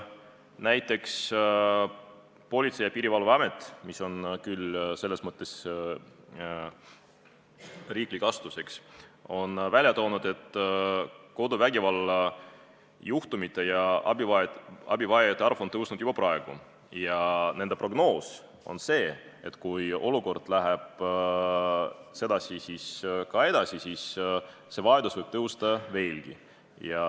Näiteks Politsei- ja Piirivalveamet, mis on küll riiklik asutus, on välja toonud, et koduvägivalla juhtumite ja abivajajate arv on kasvanud juba praegu, ning nende prognoos on see, et kui olukord läheb samamoodi edasi, siis võib see vajadus kasvada veelgi.